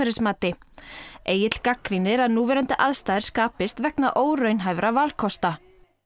Egill gagnrýnir að núverandi aðstæður skapist vegna óraunhæfra valkosta